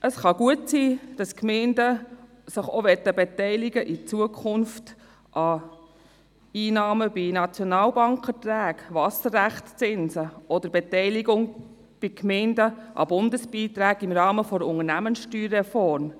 Es kann gut sein, dass sich die Gemeinden in Zukunft auch an Einnahmen bei Nationalbankerträgen beteiligen möchten, bei Wasserrechtszinsen oder bei Beteiligung von Gemeinden an Bundesbeiträgen im Rahmen der Unternehmenssteuerreform.